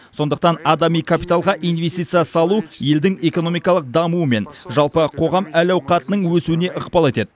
сондықтан адами капиталға инвестиция салу елдің экономикалық дамуы мен жалпы қоғам әл ауқатының өсуіне ықпал етеді